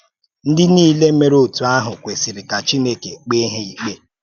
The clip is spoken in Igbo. Ndị niile mèrè otú ahụ̀ kwesìrì ka Chineke kpèé ha íkpe